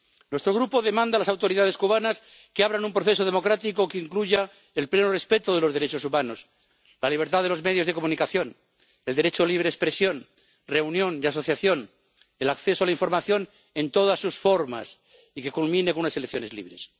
Nuestro Grupo demanda a las autoridades cubanas que abran un proceso democrático que incluya el pleno respeto de los derechos humanos, la libertad de los medios de comunicación, el derecho de libre expresión, de reunión y asociación, y el acceso a la información en todas sus formas, y que culmine en unas elecciones libres.